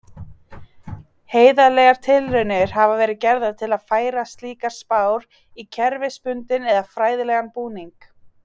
Heiðarlegar tilraunir hafa verið gerðar til að færa slíkar spár í kerfisbundinn eða fræðilegan búning.